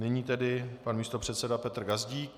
Nyní tedy pan místopředseda Petr Gazdík.